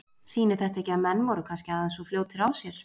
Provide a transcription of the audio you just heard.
Sýnir þetta ekki að menn voru kannski aðeins of fljótir á sér?